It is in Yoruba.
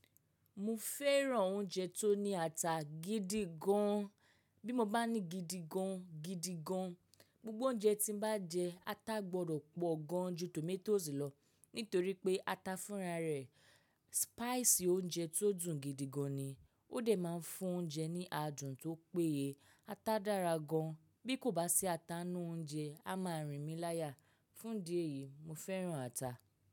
Mo fẹ́ràn oúnjẹ tó ní ata gidi gan an. Bí mo bá ní gidi gan an, gidi gan an. Gbogbo oúnjẹ tí mo bá jẹ, ata gbọdọ̀ pọ̀ gan ju tòmátósì lọ nítorí pé ata fúnra rẹ̀. Spice oúnjẹ tó dùn gidi gan ni. Ó dẹ̀ máa ń fún oúnjẹ ní adùn tó péye. Ata dára gan an. Bí kò bá sí ata nínú oúnjẹ a má rìn mi láyà. Fún ìdí èyí mo fẹ́ràn ata.